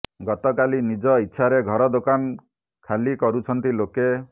ଗତକାଲି ନିଜ ଇଚ୍ଛାରେ ଘର ଦୋକାନ ଖାଲି କରୁଛନ୍ତି ଲୋକେ